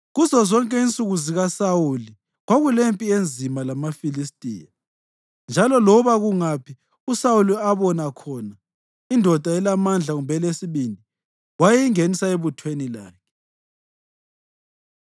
Kuzozonke insuku zikaSawuli kwakulempi enzima lamaFilistiya, njalo loba kungaphi uSawuli abona khona indoda elamandla kumbe elesibindi, wayingenisa ebuthweni lakhe.